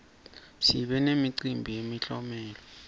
sibe nemicimbi yemiklomelo